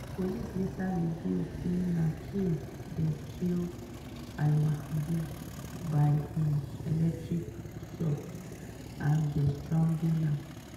police later reveal say na kill dem kill al-mabhouh by um electric shock and den strangle am.